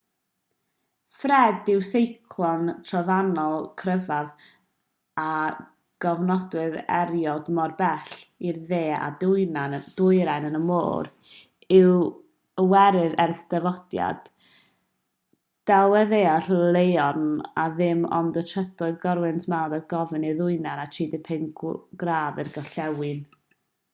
fred yw'r seiclon trofannol cryfaf a gofnodwyd erioed mor bell i'r de a'r dwyrain yn y môr iwerydd ers dyfodiad delweddaeth loeren a dim ond y trydydd corwynt mawr ar gofnod i'r dwyrain o 35 gradd i'r gorllewin